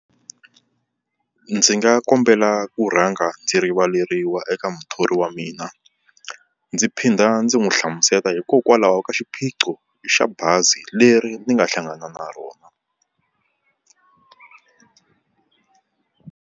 Ndzi nga kombela ku rhanga ndzi rivaleriwa eka muthori wa mina. Ndzi phinda ndzi n'wi hlamusela hikokwalaho ka xiphiqo xa bazi leri ni nga hlangana na rona.